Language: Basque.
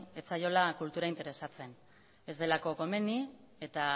ez zaiola kultura interesatzen ez delako komeni eta